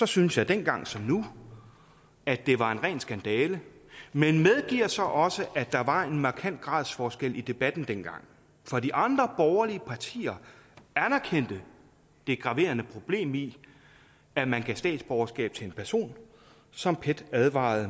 syntes jeg dengang som nu at det var en ren skandale men medgiver så også at der var en markant gradsforskel i debatten dengang for de andre borgerlige partier anerkendte det graverende problem i at man gav statsborgerskab til en person som pet advarede